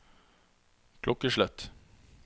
klokkeslett